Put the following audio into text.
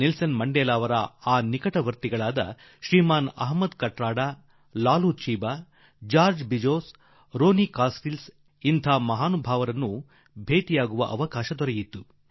Nelson ಮಂಡೇಲಾರ ನಿಕಟ ಸಹವರ್ತಿ Shriman Ahmed Kathrada Shriman Laloo Chiba Shriman George Bizos Ronnie Kasrils ಈ ಮಹಾನುಭಾವರನ್ನು ಕಾಣುವ ಸೌಭಾಗ್ಯ ನನಗೆ ದೊರಕಿತು